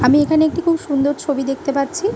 আমি এখানে একটি খুব সুন্দর ছবি দেখতে পাচ্ছি --